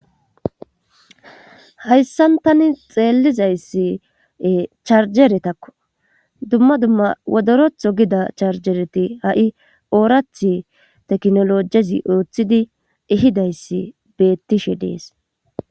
Hayssan tani xeelizayssie charjeretakko dumma dumma wodorotho gida charjereti ha7i oorathi teknolojezi ooththidi ihidayssi beettishe dees.